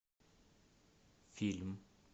фильм